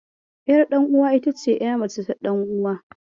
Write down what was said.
Ƴarɗanuwa ita ce ƴa mace ta ɗanuwa.